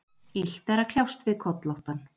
Illt er að kljást við kollóttan.